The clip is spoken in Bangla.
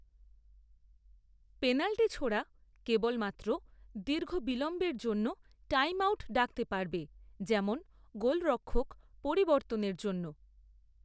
পেনাল্টি ছোঁড়া কেবলমাত্র দীর্ঘ বিলম্বের জন্য টাইমআউট ডাকতে পারবে যেমন গোলরক্ষক পরিবর্তনের জন্য।